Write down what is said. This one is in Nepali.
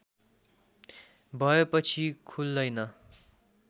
भएपछि खुल्दैन